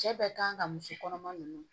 Cɛ bɛ kan ka muso kɔnɔma ninnu